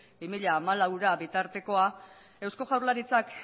bi mila hamalauera bitartekoa eusko jaurlaritzak